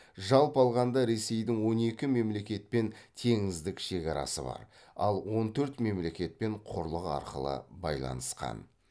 жалпы алғанда ресейдің он екі мемлекетпен теңіздік шекарасы бар ал он төрт мемлекетпен құрлық арқылы байланысқан